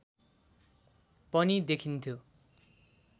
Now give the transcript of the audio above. पनि देखिन्थ्यो